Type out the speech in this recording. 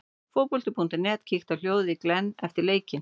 Fótbolti.net kíkti á hljóðið í Glenn eftir leikinn.